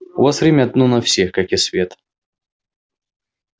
у вас время одно на всех как и свет